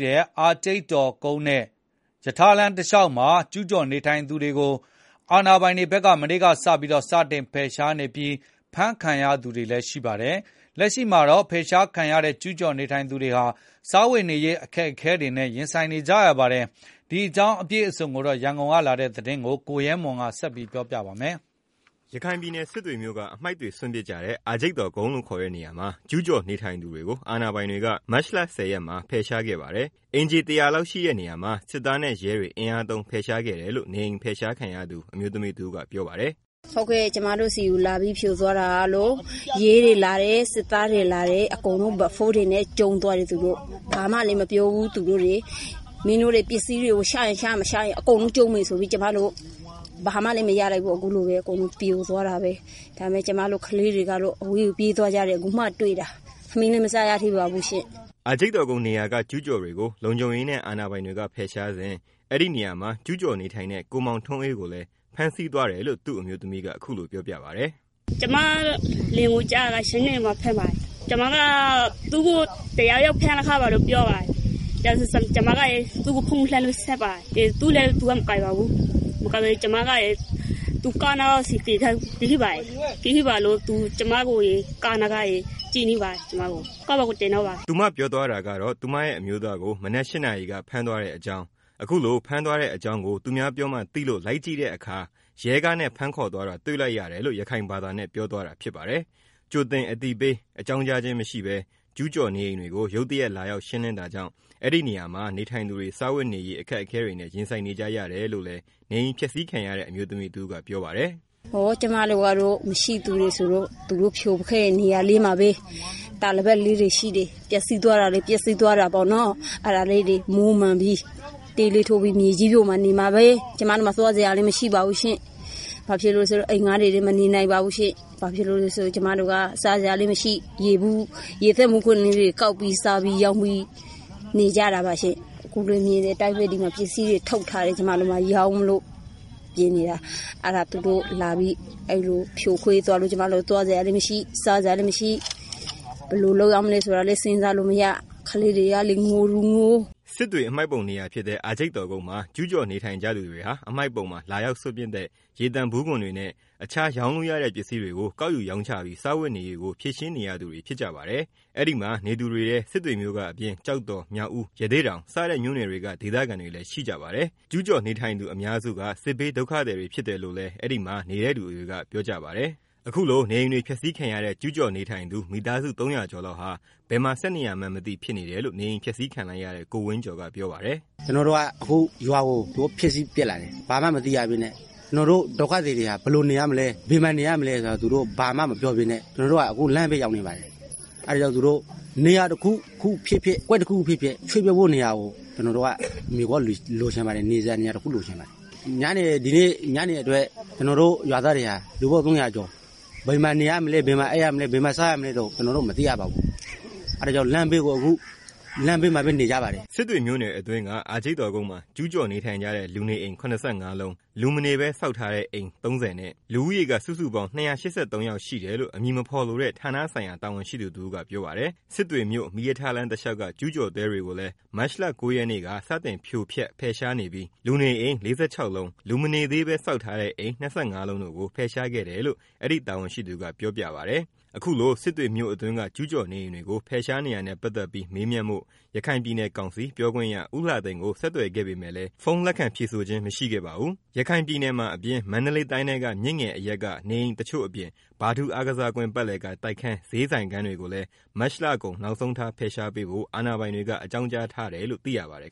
တဲ့ အာဂျိတ်တော်ကုန်းနဲ့ စစ်တွေမြို့ မီးရထားလမ်း တစ်လျောက်မှာ ကျူးကျော်နေထိုင်သူတွေကို အာဏာပိုင်တွေဖက်က ဗုဒ္ဓဟူးနေ့က စတင်ဖယ် ရှားနေပါတယ်။ အဲဒီလိုဖယ်ရှားမှုအတွင်း ဖမ်းဆီးခံရသူတချို့လည်း ရှိပါတယ်။ လုံခြုံရေးတွေက နေအိမ်တွေကို အတင်းဖြိုဖျက် ဖယ်ရှားတဲ့အတွက် ကျူးကျော်နေထိုင် သူတွေဒုက္ခတေ့ွခဲ့ကြတဲ့အကြောင်း ရန်ကုန်ကလာတဲ့ သတင်းကို ကိုရဲမွန်က တင်ပြပေးပါမယ်။ ရခိုင်ပြည်နယ်စစ်တွေမြို့က အမှိုက်တွေစွန့်ပစ်ကြတဲ့ အာဂျိတ်တော်ကုန်းလို့ခေါ်တဲ့ နေရာမှာ ကျူးကျော်နေထိုင်သူတွေကို အာဏာပိုုင်တွေက ဒီနေ့ မတ်လ ၁၀ ရက်မှာ ဖယ်ရှားခဲ့ပါတယ်။ အိမ်ခြေ ၁၀၀ လောက်ရှိတဲ့ နေရာမှာ စစ်သားနဲ့ ရဲတွေ အင်အားသုံး ဖယ်ရှားခဲ့တယ်လို့ နေအိမ် ဖယ်ရှားခံရတဲ့ အမျိုးသမီးတစ်ဦးက ပြောပါတယ်။ “ ကျမတို့ဆီကို လာပြီး ဖြိုသွားတာကတော့ ရဲတွေလာတယ်၊ စစ်သားတွေ လာတယ်၊ အကုန်လုံး ကျုံးသွားတယ်သူတို့ မင်းတို့တွေ ပစ္စည်းတွေ ချရင်ချ မချရင် အကုန်လုံး ဖြိုမယ်ဆိုတော့ ကျမတို့ ဘာမှ မရလိုက်ဘူး အကုန်လုံး အခုလို ပြိုသွားတာပဲ၊ ကျမတို့ကလေးတွေကတော့ အဝေးကို ပြေးသွားကြတယ်။ အခုမှ တွေ့တာ ထမင်းလည်းမစားရသေးပါဘူးရှင့်” အာဂျိုက်တော်ကုန်းနေရာက ကျူးကျော်တွေကို လုံခြုံရေးနဲ့ အာဏာပိုင်တွေက ဖယ်ရှားစဉ် အဲဒီမှာကျူးကျော်နေထိုင်တဲ့ ကိုမောင်ထွန်းအေးကိုလည်း ဖမ်းဆီးသွားတယ်လို့ သူ့အမျိုးသမီးက ခုလိုပြောပြပါတယ်။ “ကျမလင်ကိုတော့ မနက် ၈နာရီမှာ ဖမ်းသွားပါတယ်၊ ကျမကို တစ်ခြားတစ်ယောက်က သူ့ကို ဖမ်းသွားတယ်လို့ တစ်ခြားတစ်ယောက်ပြောတယ်။ ကျမဖုန်းဆက်ကြည့်တော့ သူဖုန်းမကိုင်ဘူး၊ အဲတော့ ကားတွေရပ်ထားတဲ့နေရာကို သွားကြည့်တော့ သူကားနားက ကျမကို ကြည့်နေတယ်၊ ပြီးတော့ ကားပေါ်ကို တင်သွားပါတယ်။” လို့ ရခိုင်ဘာသာနဲ့ ပြောပြတာဖြစ်ပါတယ်။ ကြိုတင်သတိပေး အကြောင်းကြားခြင်းမရှိဘဲ ကျူးကျော်နေအိမ်တွေကို ရုတ်တရက်လာရောက် ရှင်းလင်းတာကြောင့် အဲဒီမှာ နေထိုင်သူတွေ စားဝတ်နေရေး အခက်အခဲတွေနဲ့ ရင်ဆိုင်နေကြရတယ်လို့လည်း နေအိမ်ဖျက်ဆီးခံရတဲ့ အမျိုးသမီးတစ်ဦးက ပြောပါတယ်။ “ ကျမတို့က မရှိဆင်းရဲသားတွေဆိုတော့ သူတို့ ဖြိုခဲ့တဲ့ နေရာလေးမှာပဲ၊ တာပေါ် လိပ် လေးတွေ ရှိတယ်၊ ပစ္စည်းသွားတာကတော့ ပစ္စည်းသွားတာပေါ့နော်၊ အဲတာတွေကို မွမ်းမံပြီး တဲလေးထိုးပြီး မေကြီးပေါ်မှာ နေမှပဲ၊ ကျမတို့မှာ သွားစရာလည်း မရှိပါဘူးရှင့်၊ အိမ်ငှား ပြီး လည်း မနေနိုင်ပါဘူးရှင့် ကျမတို့မှာ စားစရာလည်းမရှိ ကျမတို့က ရေသန့်ဗူးလေးတွေ ကောက်ပြီး ရောင်းစားနေကြတာပါရှင့်၊ အခုလည်း မြင်တဲ့အတိုင်းပဲ ပစ္စည်းတွေ ထုတ်ထား တယ်၊ ကျမရောင်းမလို့၊ သူတို့အခုလို လာပြီး ဖြိုသွားတော့ စားစရာလည်းမရှိ နေစရာ လည်း မရှိ ဘယ်လိုလုပ်ရမှန်းလည်းမသိ ကလေးတွေကလည်း ငိုတဲ့သူငို။” စစ်တွေ အမှိုက်ပုံနေရာဖြစ်တဲ့ အာဂျိတ်တော်ကုန်းမှာ ကျူးကျော်နေကြသူတွေဟာ အမှိုက်ပုံမှာ လာရောက်စွန့်ပစ်တဲ့ ရေသန့်ဗူးခွံတွေနဲ့ တစ်ခြား ရောင်းလို့ရတဲ့ ပစ္စည်းတွေကို ကောက်ယူရောင်းချပြီး စားဝတ်နေရေးကို ဖြေရှင်းနေရသူတွေဖြစ်ကြပါတယ်။ အဲဒီမှာ နေသူတွေထဲ စစ်တွေမြို့ကအပြင် ကျောက်တော်၊ မြောက်ဦး၊ ရသေ့တောင်စတဲ့မြို့နယ်တွေက ဒေသခံတွေလည်း ရှိကြပါတယ်။ ကျူးကျော်နေ ထိုင်သူအများစုက စစ်ဘေးဒုက္ခသည်တွေဖြစ်တယ်လို့လည်း အဲဒီမှာနေတဲ့သူ တွေကပြောပြကြပါတယ်။ ဒီကနေ့ နေအိမ်တွေဖျက်ဆီးခံရတဲ့ ကျူးကျော်နေထိုင်သူ မိသားစု ၃၀၀ ကျော်လောက် ဟာ ဘယ်မှာဆက်နေရမှန်းမသိဖြစ်နေတယ်လို့ နေအိမ်ဖျက်ဆီးခံလိုက်ရတဲ့ ကိုဝင်းကျော်က ပြောပါတယ်။ “ အခုသူတို့ ရွာကိုလာပြီးတော့ ဖျက်စီးသွားတယ် ကျနော်တို့ ဒုက္ခသည်တွေဟာ ဘယ် မှာနေရမလဲ ကျနော်တို့ ဘာမှမမပြောဘူး။ ကျနော်တို့ အခု လမ်းဘေးရောက် နေပါတယ်၊ အဲတော့ နေရာတစ်ခုခုဖြစ်ဖြစ် အကွက်တစ်ခုခုဖြစ်ဖြစ် ရွေ့ပြောင်းမယ့် နေရာ တစ်ခုလိုချင် ပါတယ်၊ ညနေအတွက် ကျနော်တို့ ရွာသား ၃၀၀ကျော်ဟာ ဘယ်မှာ နေရမလဲ၊ ဘယ်မှာ အိပ်ရမလဲ ဘယ်မှာ စားရမလဲဆိုတာ ကျနော်တို့ မသိရပါဘူး၊ အဲတာ ကြောင့် အခုလမ်း ဘေးမှာပဲနေကြပါတယ်။” စစ်တွေမြို့နယ်အတွင်းက အာဂျိတ်တော်ကုန်းမှာ ကျူးကျော်နေထိုင်ကြတဲ့ လူနေအိမ် ၇၅ လုံး၊ လူမနေပဲ ဆောက်ထား အိမ် ၃၀ နဲ့ လူဦးရေက စုစုပေါင်း ၂၈၃ ယောက်ရှိတယ်လို့ အမည်မဖော်လိုတဲ့ ဌာနဆိုင်ရာတာဝန်ရှိသူတစ်ဦးက ပြောပါတယ်။ စစ်တွေမြို့ မီးရထားလမ်းတလေ ျှာက်က ကျူးကျော်တဲတွေကိုလည်း မတ်လ ၉ ရက်နေ့က စတင် ဖြိုဖျက် ဖယ်ရှားနေပြီး၊ လူနေအိမ် ၄၆ လုံး၊ လူမနေသေးပဲ ဆောက်ထားတဲ့အိမ် ၂၅ လုံးတို့ကို ဖယ်ရှားခဲ့တယ်လို့ အဲဒီတာဝန်ရှိသူက ပြောပါတယ်။ အခုလို စစ်တွေမြို့အတွင်းက ကျူးကျော်နေအိမ်တွေကို ဖယ်ရှားနေတာနဲ့ ပတ်သတ်ပြီး မေးမြန်းဖို့ ရခိုင်ပြည်နယ်ကောင်စီ ပြောခွင့်ရ ဦးလှသိန်းကို ဆက်သွယ်ခဲ့ပေမယ့်လည်း ဖုန်းလက်ခံဖြေ ဆိုခဲ့ခြင်းမရှိခဲ့ပါဘူး။ ခရိုင်ပြည်နယ်မှာအပြင် မန္တလေးတိုင်းထဲက မြစ်ငယ်အရပ်က နေအိမ်တချို့အပြင် ဗထူးအားကစားကွင်း ပတ်လည်က တိုက်ခန်း၊ ဈေးဆိုင်ခန်းတွေကိုလည်း မတ်လကုန် နောက်ဆုံးထားဖယ်ရှားပေးဖို့ အာဏာပိုင်တွေ အကြောင်းကြားထားတယ်လို့ သိရပါတယ်